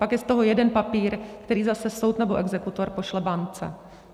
Pak je z toho jeden papír, který zase soud nebo exekutor pošle bance.